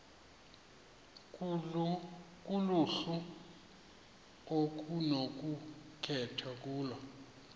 kuluhlu okunokukhethwa kulo